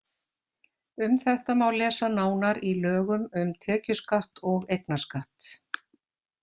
Um þetta má lesa nánar í lögum um tekjuskatt og eignarskatt.